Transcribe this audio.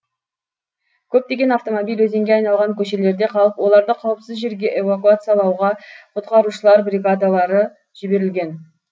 көптеген автомобиль өзенге айналған көшелерде қалып оларды қауіпсіз жерге эвакуациялауға құтқарушылар бригадалары жіберілген